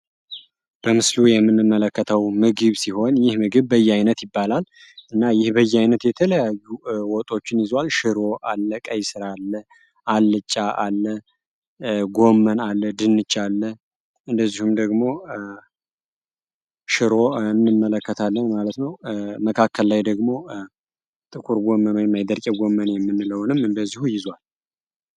በምስሉ የምንመለከተው ምግብ ሲሆን ይህ ምግብ በየአይነት ይባላል። እና ይህ በየአይነት የተለያዩ ወጦችን ይዝዋል። ሽሮ አለ፣ ቀይስር አለ፣ አልጫ አለ፣ ጎመን አለ፣ ድንች አለ እንደዚሁም ደግሞ ሽሮ እንመለከታለን ማለት ነው። መካከል ላይ ደግሞ ጥቁር ጎመን ወይም የገርጬ ጎመን የምንለውንም እንደዚሁ ይዝዋል።